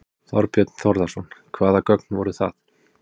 Þorbjörn Þórðarson: Hvaða gögn voru það?